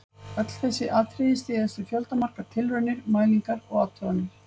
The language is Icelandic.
Öll þessi atriði styðjast við fjöldamargar tilraunir, mælingar og athuganir.